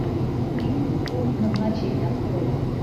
фильм пункт назначения открой